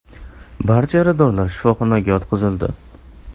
Barcha yaradorlar shifoxonaga yotqizildi.